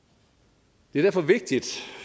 det er derfor vigtigt